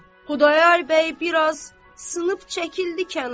Xudayar bəy biraz sınıb çəkildi kənara.